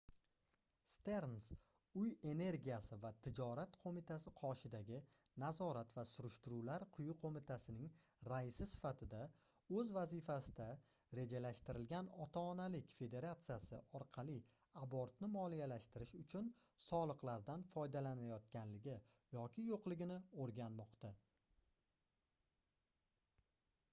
sterns uy energiyasi va tijorat qoʻmitasi qoshidagi nazorat va surishtiruvlar quyi qoʻmitasining raisi sifatida oʻz vazifasida rejalashtirilgan ota-onalik federatsiyasi orqali abortni moliyalashtirish uchun soliqlardan foydalanilayotganligi yoki yoʻqligini oʻrganmoqda